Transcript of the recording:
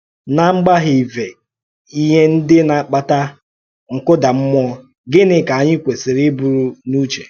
N’agbàghị́vè íhè ndị na-àkpàtà nkúdàmmúò, gịnị kà ànyị kwèsìrì íbùrù n’ùchè?